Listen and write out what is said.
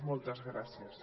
moltes gràcies